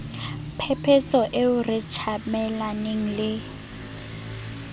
phephetso eo re tjamelaneng le